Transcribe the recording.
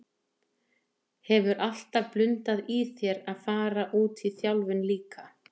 Hefur alltaf blundað í þér að fara út í þjálfun líka?